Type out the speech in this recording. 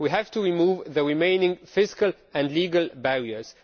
We have to remove the remaining fiscal and legal barriers.